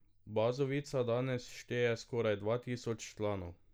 Bazovica danes šteje skoraj dva tisoč članov.